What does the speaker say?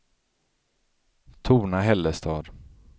Torna-Hällestad